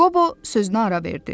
Qobo sözünə ara verdi.